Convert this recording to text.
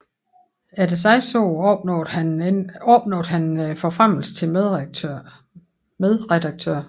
Efter seks år opnåede han forfremmelse til medredaktør